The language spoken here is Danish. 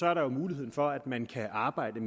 er der jo muligheden for at man kan arbejde